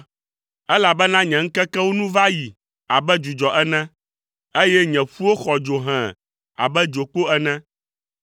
Elabena nye ŋkekewo nu va yi abe dzudzɔ ene, eye nye ƒuwo xɔ dzo hẽe abe dzokpo ene.